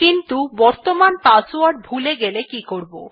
কিন্তু বর্তমান পাসওয়ার্ড ভুলে গেলে কি করব